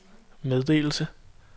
meddelelse